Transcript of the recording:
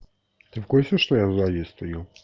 ты в курсе что я сзади стою